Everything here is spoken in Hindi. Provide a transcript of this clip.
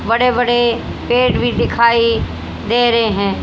बड़े बड़े पेड़ भी दिखाई दे रहे हैं।